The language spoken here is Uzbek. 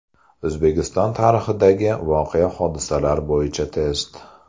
O‘zbekiston tarixidagi voqea-hodisalar bo‘yicha test.